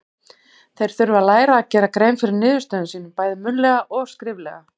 Þeir þurfa að læra að gera grein fyrir niðurstöðum sínum, bæði munnlega og skriflega.